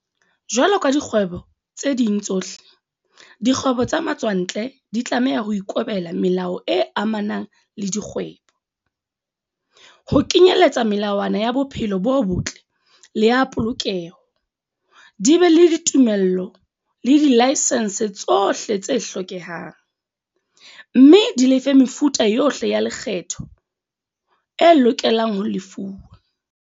Jwalo ka dikgwebo tse ding tsohle, dikgwebo tsa matswantle di tlameha ho ikobela melao e amanang le dikgwebo, ho kenyeletsa melawana ya bophelo bo botle le ya polokeho, di be le ditumello le dilaesense tsohle tse hlokehang, mme di lefe mefuta yohle ya lekgetho e loke lang ho lefuwa.